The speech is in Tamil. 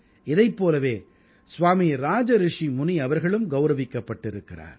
இதைப் போலவே ஸ்வாமீ ராஜரிஷி முனி அவர்களும் கௌரவிக்கப்பட்டிருக்கிறார்